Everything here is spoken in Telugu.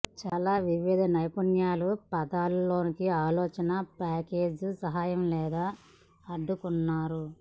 చాలా వివిధ నైపుణ్యాలు పదాలు లోకి ఆలోచన పాసేజ్ సహాయం లేదా అడ్డుకున్నారు